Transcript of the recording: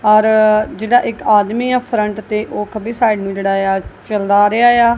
ਔਰ ਜਿਹੜਾ ਇੱਕ ਆਦਮੀ ਆ ਫਰੰਟ ਤੇ ਉਹ ਖੱਬੀ ਸਾਈਡ ਨੂੰ ਜਿਹੜਾ ਇਆ ਚਲਦਾ ਆ ਰਿਹਾ ਆ।